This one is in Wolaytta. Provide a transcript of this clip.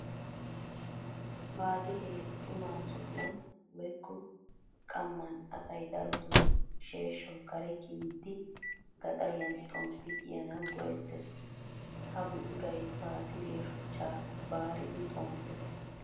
Baatiree xuma sohuwan woyikko qamman asay darotoo sheeshshawu kare kiyiiddi gaxariyan xomppi kiyanawu go'ettes. Ha buquray baatiriya shuchchaa baaridi xomppes.